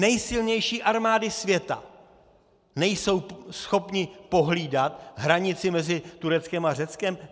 Nejsilnější armády světa nejsou schopny pohlídat hranici mezi Tureckem a Řeckem?